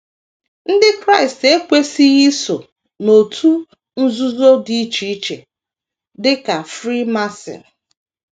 Ndị Kraịst ekwesịghị iso n’òtù nzuzo dị iche iche, dị ka Freemason.